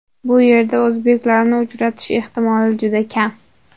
Bu yerda o‘zbeklarni uchratish ehtimoli juda kam.